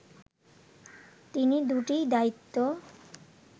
তিনি দুইটি দায়িত্ব